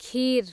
खीर